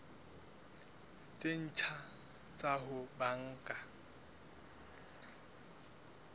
tse ntjha tsa ho banka